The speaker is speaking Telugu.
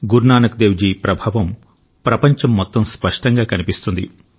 గురు నానక్ దేవ్ జీ ప్రభావం ప్రపంచం మొత్తం స్పష్టంగా కనిపిస్తుంది